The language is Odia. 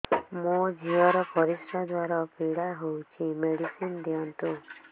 ମୋ ଝିଅ ର ପରିସ୍ରା ଦ୍ଵାର ପୀଡା ହଉଚି ମେଡିସିନ ଦିଅନ୍ତୁ